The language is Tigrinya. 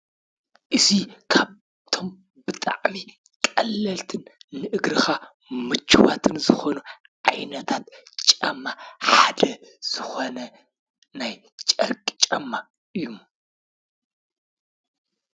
እዚ ካብቶም ብጣዕሚ ቀለልትን ንእግርካ ምችዋትን ዝኾኑ ዓይነታት ጫማ ሓደ ዝኾነ ናይ ጨርቂ ጫማ እዩ።